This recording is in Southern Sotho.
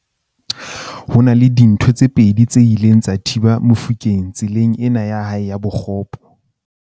Ho na le dintho tse pedi tse ileng tsa thiba Mofokeng tseleng ena ya hae ya bokgopo.